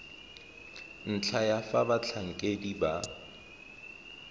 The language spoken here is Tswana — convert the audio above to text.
ntlha ya fa batlhankedi ba